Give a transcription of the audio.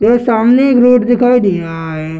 ये सामने एक रोड दिखाई दे रहा है।